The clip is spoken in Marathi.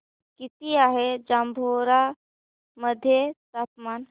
किती आहे जांभोरा मध्ये तापमान